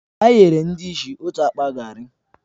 Anyị nyere ndị ìsì otu akpa garri